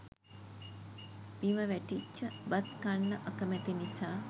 බිම වැටිච්ච බත් කන්න අකමැති නිසා